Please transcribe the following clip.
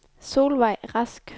Solvejg Rask